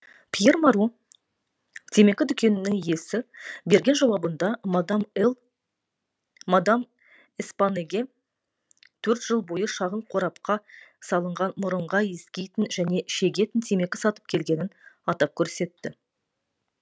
пьер моро темекі дүкенінің иесі берген жауабында мадам л эспанэге төрт жыл бойы шағын қорапқа салынған мұрынға иіскейтін және шегетін темекі сатып келгенін атап көрсетті